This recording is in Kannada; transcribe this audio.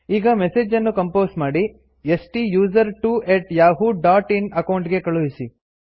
ಈಗ ಮೆಸೇಜ್ ಅನ್ನು ಕಂಪೋಸ್ ಮಾಡಿ ಸ್ಟುಸರ್ಟ್ವೊ at Yahoo dot in account ಗೆ ಕಳುಹಿಸಿ